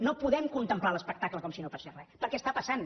no podem contemplar l’espectacle com si no passés re perquè està passant